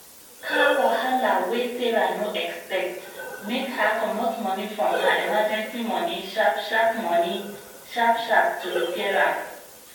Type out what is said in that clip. car wahala wey sarah no expect make her comot money from her emergency money sharp-sharp money sharp-sharp to repair am